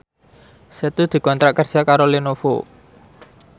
Setu dikontrak kerja karo Lenovo